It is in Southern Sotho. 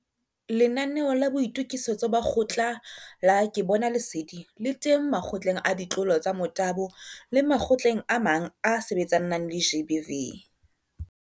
Lenanaeo la Boitokisetso ba Kgotla la Ke Bona Lesedi le teng Makgotleng a Ditlolo tsa Motabo le makgotleng a mang a a sebetsanang le GBV.